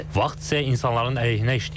Vaxt isə insanların əleyhinə işləyir.